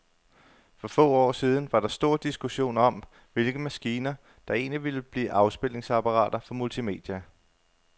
For få år siden var der stor diskussion om, hvilke maskiner, der egentlig ville blive afspilningsapparater for multimedia.